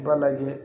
I b'a lajɛ